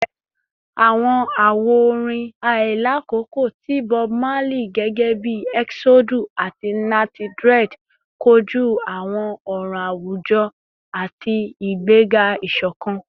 Awọn awo-orin ailakoko ti Bob Marley gẹgẹbi “Eksodu” ati “Natty Dread” koju awọn ọran awujọ ati igbega isokan